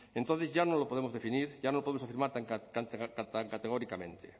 entonces ya no lo podemos definir ya no lo podemos afirmar tan categóricamente